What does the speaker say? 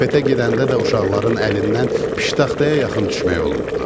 Bufetə gedəndə də uşaqların əlindən pıştaxtaya yaxın düşmək olmurdu.